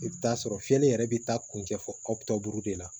I bɛ t'a sɔrɔ fiyɛli yɛrɛ bɛ taa kuncɛ fɔ buru de la